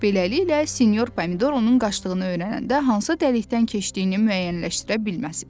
Beləliklə sinyor Pomidor onun qaçdığını öyrənəndə hansı dəlikdən keçdiyini müəyyənləşdirə bilməsin.